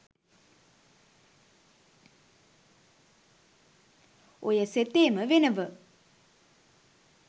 ඔය සෙතේම වෙනව